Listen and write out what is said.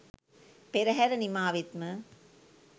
පෙරහැර නිමා වෙත්ම